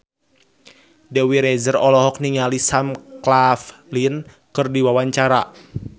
Dewi Rezer olohok ningali Sam Claflin keur diwawancara